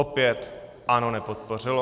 Opět ANO nepodpořilo.